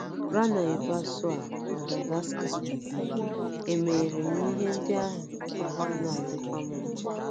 Ranaivoarisoa, Madagascar. * Emere m ihe ndị ahụ, ahụ́ ana - adịkwu m mma. ”